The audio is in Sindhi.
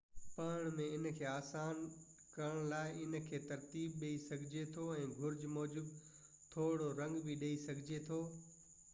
پڙهڻ ۾ ان کي آسان ڪرن لاءِ ان کي ترتيب ڏئي سگھجي ٿو ۽ گهرج موجب ٿورڙو رنگ به ڏئي سگهجي ٿو